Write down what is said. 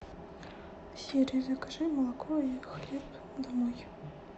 сири закажи молоко и хлеб домой